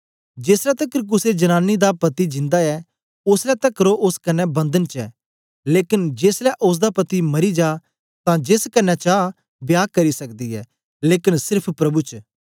जेसलै तकर कुसे जनांनी दा पति जिंदा ऐ ओसलै तकर ओ ओस कन्ने बंधन च ऐ लेकन जेसलै ओसदा पति मरी जा तां जेस कन्ने चा विवाह करी सकदी ऐ लेकन सेर्फ प्रभु च